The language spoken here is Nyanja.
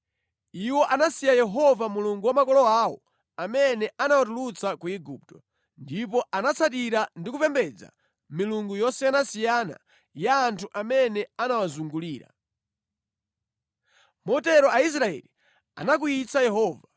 Iwo anasiya Yehova Mulungu wa makolo awo, amene anawatulutsa ku Igupto. Ndipo anatsatira ndi kupembedza milungu yosiyanasiyana ya anthu amene anawazungulira. Motero Aisraeli anakwiyitsa Yehova.